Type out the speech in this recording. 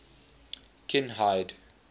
kinhide